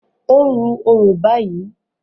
O n ru orò bayii